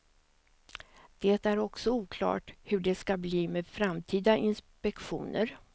Det är också oklart hur det skall bli med framtida inspektioner.